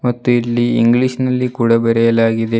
ಮತ್ತು ಇಲ್ಲಿ ಇಂಗ್ಲಿಷ್ ನಲ್ಲಿ ಕೂಡ ಬರೆಯಲಾಗಿದೆ.